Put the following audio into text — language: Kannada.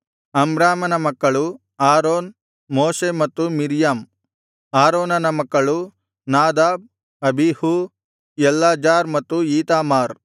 ಅಮ್ರಾಮನ ಮಕ್ಕಳು ಆರೋನ್ ಮೋಶೆ ಮತ್ತು ಮಿರ್ಯಾಮ್ ಆರೋನನ ಮಕ್ಕಳು ನಾದಾಬ್ ಅಬೀಹೂ ಎಲ್ಲಾಜಾರ್ ಮತ್ತು ಈತಾಮಾರ್